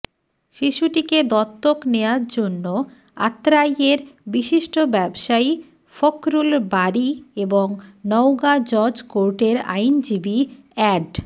শিশুটিকে দত্তক নেয়ার জন্য আত্রাইয়ের বিশিষ্ট ব্যবসায়ী ফখরুল বারী এবং নওগাঁ জজ কোর্টের আইনজীবী অ্যাড